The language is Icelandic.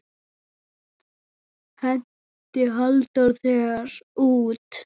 Henti Halldór þér út?